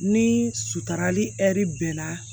Ni sutara ni hɛri bɛnna